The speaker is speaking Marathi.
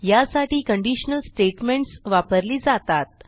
यासाठी कंडिशनल स्टेटमेंट्स वापरली जातात